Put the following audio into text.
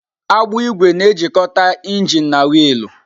Agbụ ígwè na-ejikọta injin na wiilu.